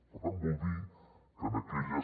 per tant vol dir que en aquelles